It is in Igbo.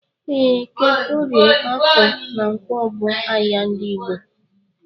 Ee, eke, orie, afọ na ǹkwọ bu ahịa ndị Igbo.